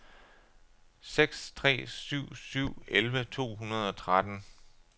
seks tre syv syv elleve to hundrede og tretten